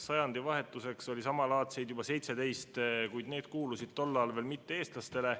Sajandivahetuseks oli samalaadseid juba 17, kuid need kuulusid tol ajal veel mitte-eestlastele.